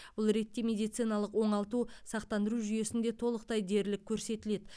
бұл ретте медициналық оңалту сақтандыру жүйесінде толықтай дерлік көрсетіледі